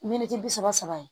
Miniti bi saba saba